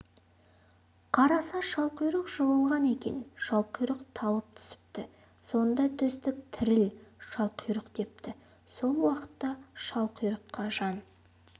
қараса шалқұйрық жығылған екен шалқұйрық талып түсіпті сонда төстік тіріл шалқұйрық депті сол уақытта шалқұйрыққа жан